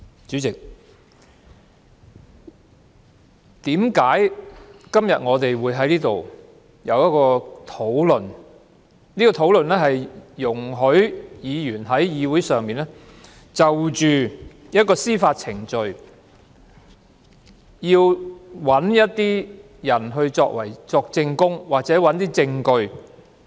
主席，為何我們今天會在這裏討論議員在議會上是否准許一些人就一項司法程序作證或提供證據？